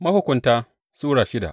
Mahukunta Sura shida